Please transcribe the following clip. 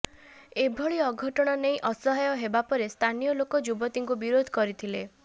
ଏଭଳି ଅଘଟଣ ନେଇ ଅସହାୟ ହେବା ପରେ ସ୍ଥାନୀୟ ଲୋକ ଯୁବତୀଙ୍କୁ ବିରୋଧ କରିଥିଲେ